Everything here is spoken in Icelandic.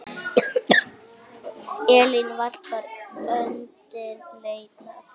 Elítan varpaði öndinni léttar.